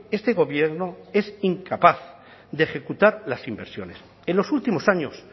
este gobierno es incapaz de ejecutar las inversiones en los últimos años